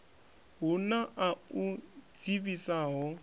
hu na a u dzivhisaho